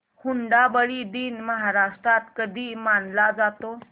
हुंडाबंदी दिन महाराष्ट्रात कधी मानला जातो